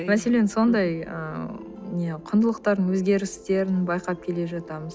мәселен сондай ыыы не құндылықтардың өзгерістерін байқап келе жатамыз